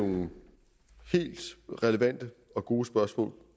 nogle helt relevante og gode spørgsmål